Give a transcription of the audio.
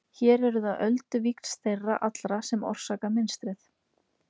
hér eru það ölduvíxl þeirra allra sem orsaka mynstrið